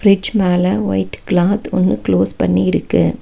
Fridge மேல white cloth ஒன்னு close பண்ணி இருக்கு.